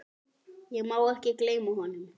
Ég má ekki gleyma honum.